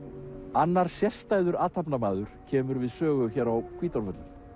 annar sérstæður athafnamaður kemur við sögu hér á Hvítárvöllum